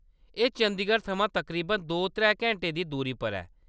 एह्‌‌ चंदीगढ़ थमां तकरीबन दो-त्रै घैंटें दी दूरी पर ऐ।